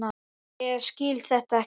Ég skil þetta ekki!